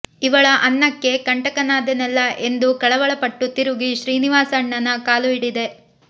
ಇವಳ ಅನ್ನಕ್ಕೆ ಕಂಟಕನಾದೆನಲ್ಲ ಎಂದು ಕಳವಳಪಟ್ಟು ತಿರುಗಿ ಶ್ರೀನಿವಾಸಣ್ಣನ ಕಾಲು ಹಿಡಿದೆ